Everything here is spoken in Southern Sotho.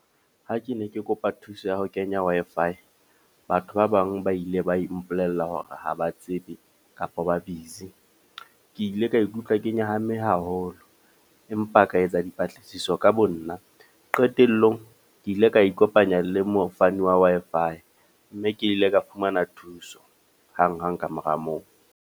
Ha ke ne ke kopa thuso ya ho kenya Wi-Fi. Batho ba bang ba ile ba ipolella hore ha ba tsebe kapa ba busy. Ke ile ka ikutlwa ke nyahame haholo. Empa ka etsa dipatlisiso ka bo nna. Qetellong, ke ile ka ikopanya le mofani wa Wi-Fi. Mme ke ile ka fumana thuso hang-hang kamora moo.